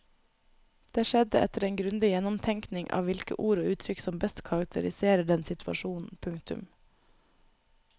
Det skjedde etter en grundig gjennomtenkning av hvilke ord og uttrykk som best karakteriserer den situasjonen. punktum